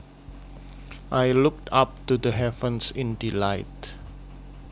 I looked up to the heavens in delight